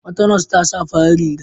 Wata nas ta sa farar riga.